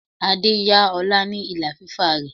Adé yá ọlá ni ìlà fífà rẹ.